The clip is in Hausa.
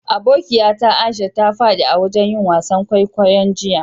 Abokiya ta Aisha ta fadi a'wajen yin wasan kwaikwayo'n jiya.